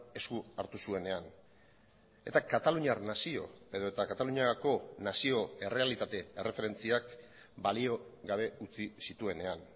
esku hartu zuenean eta kataluniar nazio edota kataluniako nazio errealitate erreferentziak balio gabe utzi zituenean